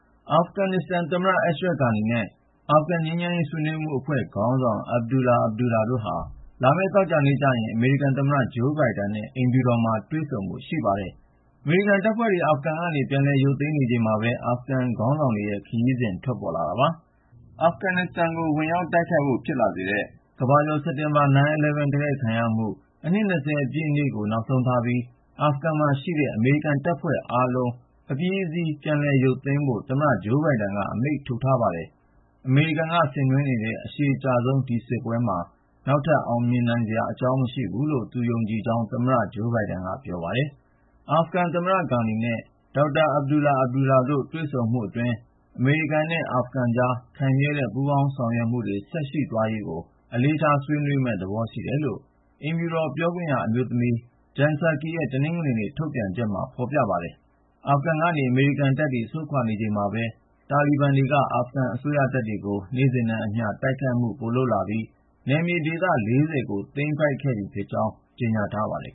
အာဖဂန်နစ္စတန်ခေါင်းဆောင် Ashraf Ghani နဲ့ အာဂန်ငြိမ်းချမ်းရေး ဆွေးနွေးမှုအဖွဲ့ ခေါင်းဆောင် Abdullah Abdullah တို့ဟာ လာမယ့် သောကြာနေ့ကျရင် အမေရိကန်သမ္မတ Joe Biden နဲ့ အိမ်ဖြူတော်မှာ တွေ့ဆုံဖို့ ရှိပါတယ်။ အမေရိကန်တပ်တွေ အာဖဂန်က ပြန်ရုပ်သိမ်းနေချိန်မှာပဲ အာဖဂန်ခေါင်းဆောင်ရဲ့ ခရီးစဉ် ထွက်ပေါ်လာတာပါ။ အာဖဂန်နစ္စတန်ကို ဝင်ရောက်တိုက်ခိုက်ဖို့ ဖြစ်လာစေတဲ့ အမေရိကန်မှာ စက်တင်ဘာ 9/11 တိုက်ခိုက်ခံရမှု အနှစ် ၂၀ ပြည့်နေ့ကို နောက်ဆုံးထားပြီး အာဖဂန်မှာရှိတဲ့ အမေရိကန်တပ်ဖွဲ့အားလုံး အပြီးအစီး ပြန်ရုပ်သိမ်းဖို့ သမ္မတ Joe Biden က အမိန့်ထုတ်ထားပါတယ်။ အမေရိကန်က ဆင်နွှဲနေတဲ့ အရှည်ကြာဆုံး ဒီစစ်ပွဲမှာ နောက်ထပ် အောင်မြင်နိုင်စရာ မရှိနိုင်တော့ဘူးလို့ သူယုံကြည်ကြောင်း သမ္မတ Biden က ပြောပါတယ်။ အာဖဂန်သမ္မတ Ghani နဲ့ Dr. Abdullah Abdullah တို့နဲ့ သမ္မတ Biden တို့ရဲ့ တွေ့ဆုံမှုအတွင်း အမေရိကန်နဲ့ အာဖဂန်ကြား ရေရှည်ခိုင်မြဲတဲ့ ပူးပေါင်းဆောင်ရွက်မှု ဆက်ရှိသွားရေးကို အလေးထားဆွေးနွေးမယ့်သဘော ရှိတယ်လို့ အိမ်ဖြူတော်ပြောခွင့်ရ အမျိုးသမီး Jen Psaki ရဲ့ တနင်္ဂနွေနေ့ ထုတ်ပြန်တဲ့ ကြေညာချက်မှာ ဖော်ပြပါတယ်။ အာဖဂန်ကနေ အမေရိကန်တပ်တွေ ဆုတ်ခွာနေချိန်မှာပဲ တာလီဘန်တပ်တွေက အာဖဂန်အစိုးရ တပ်တွေကို နေ့စဉ်နဲ့အမျှ တိုက်ခိုက်မှု ပိုလုပ်လာပြီး နယ်မြေဒေသ ၄၀ ကို သိမ်းပိုက်ခဲ့ပြီဖြစ်ကြောင်း ကြေညာထားပါတယ်